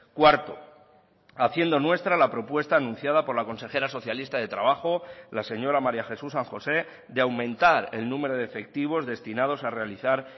cuarto haciendo nuestra la propuesta anunciada por la consejera socialista de trabajo la señora maría jesús san josé de aumentar el número de efectivos destinados a realizar